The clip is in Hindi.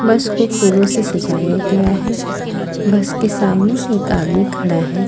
बस को फूलों से सजाया गया है। बस के सामने एक आदमी खड़ा हैं।